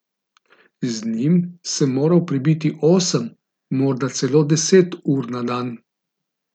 Z njim sem morala prebiti osem, morda celo deset ur na dan.